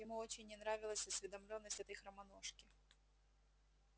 ему очень не нравилась осведомлённость этой хромоножки